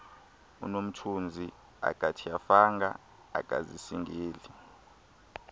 unomthunzi akatyhafanga akazisingeli